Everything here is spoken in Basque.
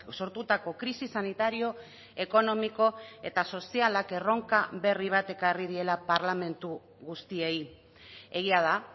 sortutako krisi sanitario ekonomiko eta sozialak erronka berri bat ekarri diela parlamentu guztiei egia da